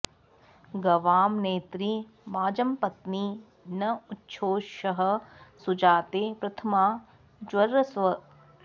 गवां॑ ने॒त्री वाज॑पत्नी न उ॒च्छोषः॑ सुजाते प्रथ॒मा ज॑रस्व